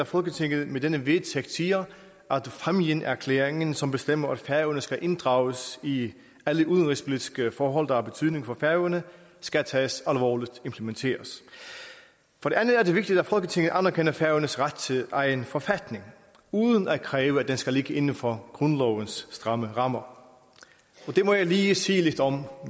at folketinget med denne vedtægt siger at fámjinerklæringen som bestemmer at færøerne skal inddrages i alle udenrigspolitiske forhold der har betydning for færøerne skal tages alvorligt implementeres for det andet er det vigtigt at folketinget anerkender færøernes ret til egen forfatning uden at kræve at den skal ligge inden for grundlovens rammer rammer det må jeg lige sige lidt om